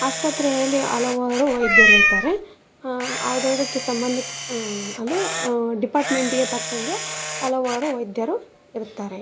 ಆಸ್ಪತ್ರೆ ಯಲ್ಲಿ ಹಲವಾರು ವೈದ್ಯರು ಇರ್ತಾರೆ ಅ ಅದಕ್ಕೆ ಸಂಬದಿಸಿದ ಅಂದ್ರೆ ಡಿಪಾರ್ಟ್ಮೆಂಟ್ ಗೆ ತಕ್ಕಂಗೆ ಹಲವಾರು ವೈದ್ಯರು ಇರುತ್ತಾರೆ.